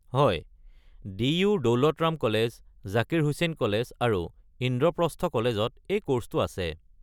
হয়, দি.ইউ.-ৰ Daulat Ram college, Zakir Hussain college আৰু ইন্দ্ৰপ্ৰস্থ কলেজত এই কৰ্ছটো আছে।